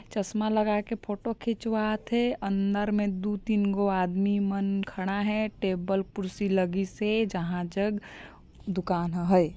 चसमा लगा के फ़ोटो खिचवाथे अंदर मे दो तीन गो आदमी मन खड़ा है टेबल कुर्सी लगी से जहां जग दुकान ह है।